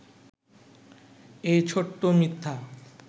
এই ছোট্ট মিথ্যা